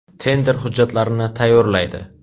Tender hujjatlarini tayyorlaydi.